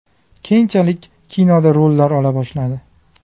Keyinchalik kinoda rollar ola boshladi.